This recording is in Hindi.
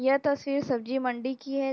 यह तस्वीर सब्जी मंडी की है।